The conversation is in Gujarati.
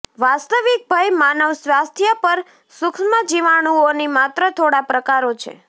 વાસ્તવિક ભય માનવ સ્વાસ્થ્ય પર સુક્ષ્મજીવાણુઓની માત્ર થોડા પ્રકારો છે